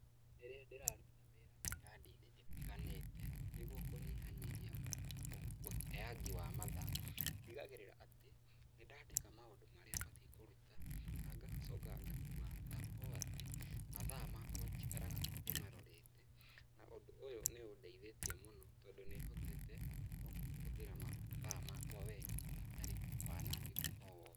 Rĩrĩa ndĩraruta wĩra mĩrandi-inĩ ĩtiganĩte, nĩguo kũnyihanyihia ũteangi wa mathaa ndigagĩrĩra atĩ, nĩ ndaandĩka maũndũ marĩa batiĩ kũruta na ngacoka ngakua atĩ mathaa makwa njikaraga ndĩmarorete, na ũndũ ũyũ nĩ ũndeithĩtie tondũ nĩ hotete kũhũthĩra matha makwa wega hatarĩ wanangĩku o wothe.